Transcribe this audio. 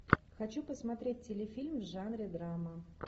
хочу посмотреть телефильм в жанре драма